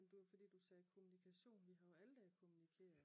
Men det var fordi du sagde kommunikation vi har jo alle dage kommunikeret